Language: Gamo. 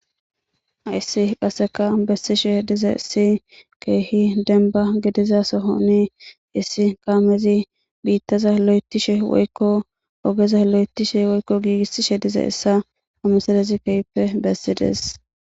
Hayssi qassika bessishe dizayssi keehi dembba gidiza sohani issi kaamezi biittaza loyttishe woykko ogeza loyttishe woykko giigisishe dizayssa ha misilezi keehippe bessidees.